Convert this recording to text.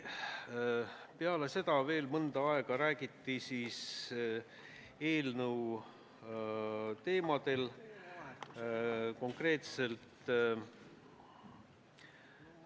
Pärast seda veel mõnda aega räägiti eelnõust 183.